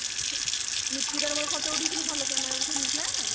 ନିକିତା ର ମୋର photo ଉଠେଇଥିଲୁ ଭଲ camera ଉଠିନଥିଲା?